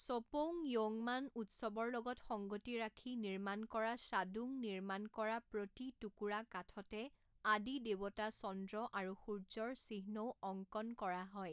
শ্বপৌং য়ৌংমান উৎসৱৰ লগত সংগতি ৰাখি নিৰ্মাণ কৰা শ্বাদুং নিৰ্মাণ কৰা প্ৰতি টুকুৰা কাঠতে আদি দেৱতা চন্দ্ৰ আৰু সূৰ্য্যৰ চিহ্নও অংকন কৰা হয়।